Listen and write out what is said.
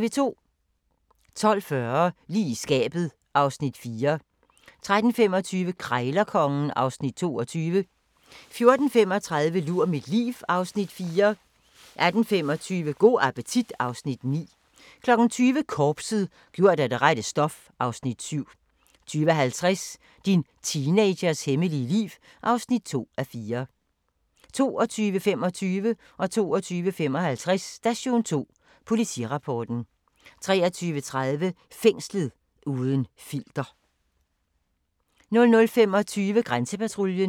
12:40: Lige i skabet (Afs. 4) 13:25: Krejlerkongen (Afs. 22) 14:35: Lur mit liv (Afs. 4) 18:25: Go' appetit (Afs. 9) 20:00: Korpset - gjort af det rette stof (Afs. 7) 20:50: Din teenagers hemmelige liv (2:4) 22:25: Station 2: Politirapporten 22:55: Station 2: Politirapporten 23:30: Fængslet – uden filter 00:25: Grænsepatruljen